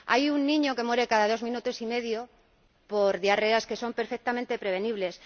Hay un niño que muere cada dos minutos y medio por diarreas que son perfectamente prevenibles.